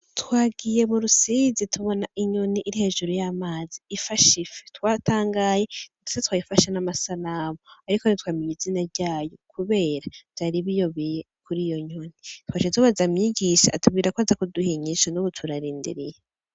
Twagiye murusizi tubona inyoni iri hejuru y'amazi ifashe ifi twatangaye twayifashe n' amasanamu ariko ntitwamenye izina ryayo kubera vyari biyobeye twaciye tubaza mwigisha atubwira ko aza kuduha inyishu nubu turarindiriye.